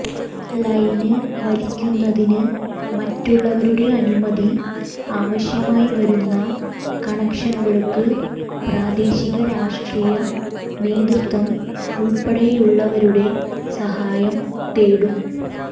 line വലിക്കുന്നതിന് മറ്റുള്ളവരുടെ അനുമതി ആവശ്യമായി വരുന്ന കണക്ഷനുകള്ക്ക് പ്രാദേശിക രാഷ്ട്രീയ നേതൃത്വം ഉള്പ്പെടെയുള്ളവരുടെ സഹായം തേടും